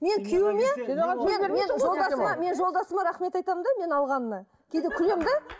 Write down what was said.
мен күйеуіме мен мен мен жолдасыма мен жолдасыма рахмет айтамын да мен алғанына кейде күлемін де